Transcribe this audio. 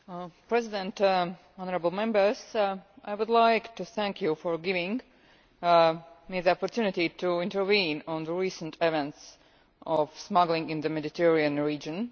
Mr President, honourable Members, I would like to thank you for giving me the opportunity to intervene on the recent events of people smuggling in the Mediterranean region.